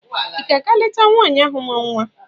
Ị ga-aga leta nwaanyị ahụ mụrụ nwa?